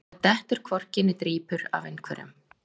Það dettur hvorki né drýpur af einhverjum